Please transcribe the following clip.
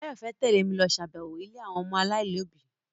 Báyọ̀ fẹ́ tẹ́lẹ̀ mi lọ ṣàbẹ̀wọ̀ ilé àwọn ọmọ aláìlóbi